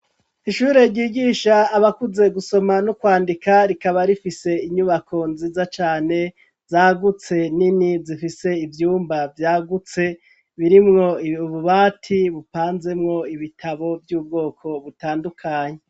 Ishure ryigisha abakuze gusoma no kwandika rikaba rifise inyubako nziza cane zagutse nini zifise ivyumba vyagutse birimwo ububati bupanzemwo ibitabo vy'ubwoko butandukanye